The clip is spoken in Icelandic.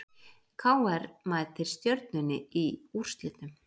KR mætir Stjörnunni í úrslitum